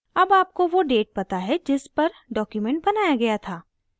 अब आपको now date पता है जिस पर document बनाया गया था